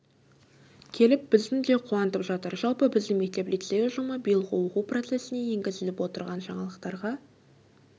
келіп біздің де қуантып жатыр жалпы біздің мектеп-лицей ұжымы биылғы оқу процессіне енгізіліп отырған жаңалықтарға